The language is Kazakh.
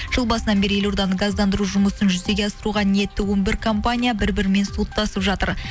жыл басынан бері елорданы газдандыру жұмысын жүзеге асыруға ниетті он бір компания бір бірімен соттасып жатыр